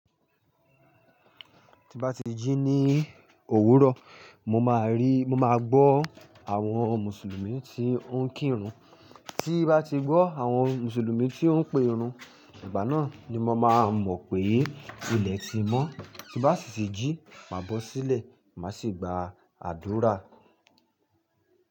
Tí n bá ti jí ní òwúrọ̀, mo máa rí, mo máa gbọ́ àwọn Mùsùlùmí tí ó ń kírun. Tí n bá ti gbọ́ àwọn Mùsùlùmí tí ó ń pe irun, ìgbà náà ni mo máa mọ̀ pé ilẹ̀ ti mọ́. Tí n bá sì ti jí, máa bọ́ sílẹ̀, màá sì gba àdúrà.